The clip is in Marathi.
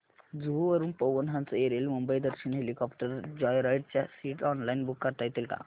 जुहू वरून Pawan Hans aerial Mumbai Darshan helicopter joyride च्या सीट्स ऑनलाइन बुक करता येतील का